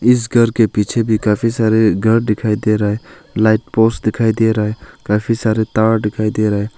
इस घर के पीछे भी काफी सारे घर दिखाई दे रहा है लाइट पोस्ट दिखाई दे रहा है काफी सारे तार दिखाई दे रहा है।